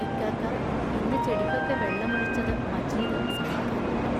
ഇയ്ക്കാക്കാ, ഇന്നു ചെടിക്കൊക്കെ വെള്ളമൊഴിച്ചതു മജീദ് സമാധാനിപ്പിക്കും.